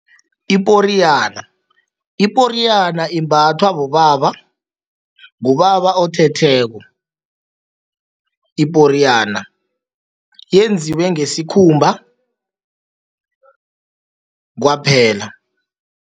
Iporiyana, iporiyana imbathwa bobaba, ngubaba othetheko. Iporiyana yenziwe ngesikhumba kwaphela.